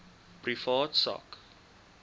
privaat sak